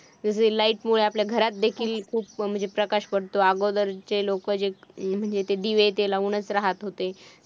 जसे light मुळे आपल्या घरात देखील खूप प्रकाश पडतो अगोदर जे लोक जे म्हणजे ते दिवे लावूनच राहत होते.